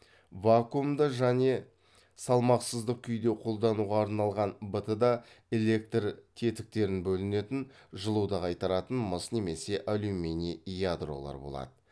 вакуумда және салмақсыздық күйде қолдануға арналған бт да электр тетіктерін бөлінетін жылуды қайтаратын мыс немесе алюминий ядролар болады